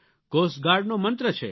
cost ગાર્ડનો મંત્ર છે